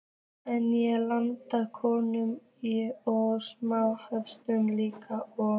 En ég lærði kokkinn og smá frönsku líka og